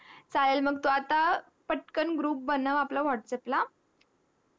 चळेल म्हणजे टू पटकन group बनव whatsapp ला